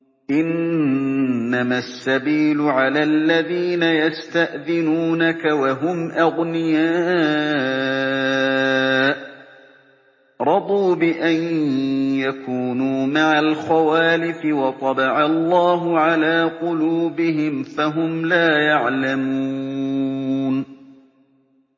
۞ إِنَّمَا السَّبِيلُ عَلَى الَّذِينَ يَسْتَأْذِنُونَكَ وَهُمْ أَغْنِيَاءُ ۚ رَضُوا بِأَن يَكُونُوا مَعَ الْخَوَالِفِ وَطَبَعَ اللَّهُ عَلَىٰ قُلُوبِهِمْ فَهُمْ لَا يَعْلَمُونَ